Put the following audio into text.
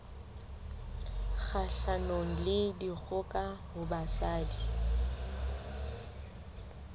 kgahlanong le dikgoka ho basadi